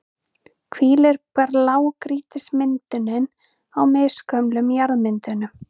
hvílir blágrýtismyndunin á misgömlum jarðmyndunum.